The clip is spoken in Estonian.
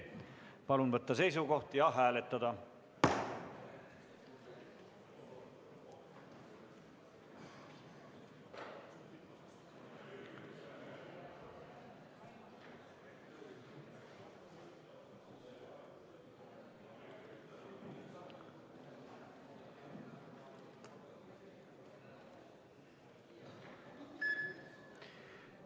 Palun võtta seisukoht ja hääletada!